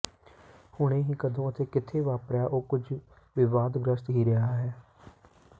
ਹੁਣੇ ਹੀ ਕਦੋਂ ਅਤੇ ਕਿੱਥੇ ਵਾਪਰਿਆ ਉਹ ਕੁਝ ਵਿਵਾਦਗ੍ਰਸਤ ਹੀ ਰਿਹਾ ਹੈ